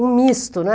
um misto, né?